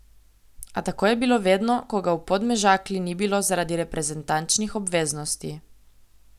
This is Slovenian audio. A tako je bilo vedno, ko ga v Podmežakli ni bilo zaradi reprezentančnih obveznosti.